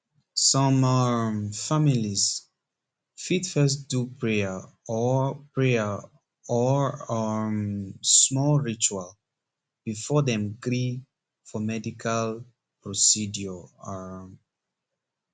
some um families fit first do prayer or prayer or um small ritual before dem agree for medical procedure um